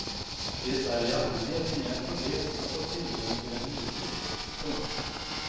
Det är i allmänhet inga problem att få tillgång till en hyrbil. punkt